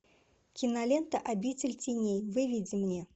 кинолента обитель теней выведи мне